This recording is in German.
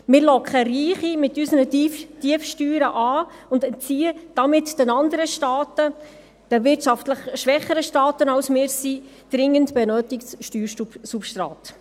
Wir locken Reiche mit unseren Tiefsteuern an und entziehen damit den anderen Staaten, den wirtschaftlich schwächeren Staaten als wir es sind, dringend benötigtes Steuersubstrat.